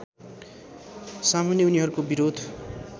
सामुन्ने उनीहरूको विरोध